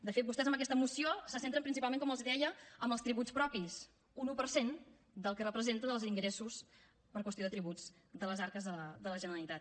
de fet vostès amb aquesta moció se centren principalment com els deia en els tributs propis un un per cent del que representen els ingressos per qüestió de tributs de les arques de la generalitat